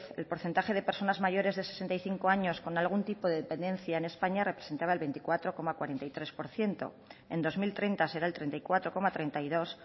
el porcentaje de personas mayores de sesenta y cinco años con algún tipo de dependencia en españa representaba el veinticuatro coma cuarenta y tres por ciento en dos mil treinta será el treinta y cuatro coma treinta y dos